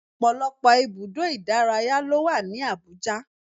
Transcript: Ọ̀pọ̀lọpọ̀ ibùdó ìdárayá ló wà ní Abuja